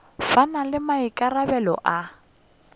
ba na le maikarabelo a